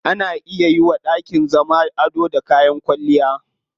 Ana iya yiwa dakin zama ado da kayan kwalliya.